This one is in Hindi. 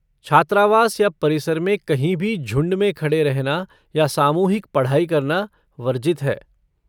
छात्रावास या परिसर में कहीं भी झुंड में खड़े रहना या सामूहिक पढ़ाई करना वर्जित है।